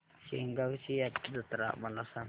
शेगांवची जत्रा मला सांग